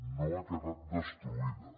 no ha quedat destruïda